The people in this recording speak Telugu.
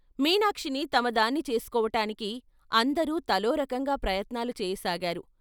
మీనాక్షిని తమ దాన్ని చేసు కోవటానికి అందరూ తలో రకంగా ప్రయత్నాలు చేయసాగారు.